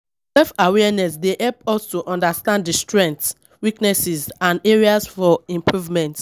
self-awareness dey help us to understand di strengths, weaknesses and areas for improvement.